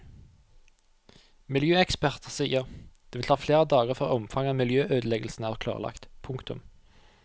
Miljøeksperter sier at det vil ta flere dager før omfanget av miljøødeleggelsene er klarlagt. punktum